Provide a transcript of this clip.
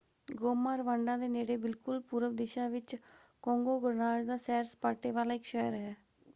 Goma Rwanda ਦੇ ਨੇੜੇ ਬਿਲਕੁਲ ਪੂਰਬ ਦਿਸ਼ਾ ਵਿੱਚ ਕੋਂਗੋ ਗਣਰਾਜ ਦਾ ਸੈਰ-ਸਪਾਟੇ ਵਾਲਾ ਇੱਕ ਸ਼ਹਿਰ ਹੈ।